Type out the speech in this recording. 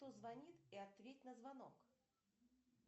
кто звонит и ответь на звонок